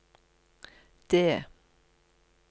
det